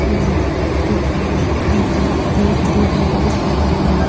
और कुछ लोग टीचर्स देखते हुए दिख रहे हैं।